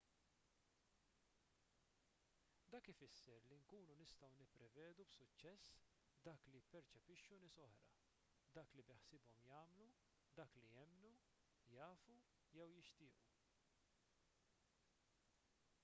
dak ifisser li nkunu nistgħu nipprevedu b'suċċess dak li jipperċepixxu nies oħra dak li beħsiebhom jagħmlu dak li jemmnu jafu jew jixtiequ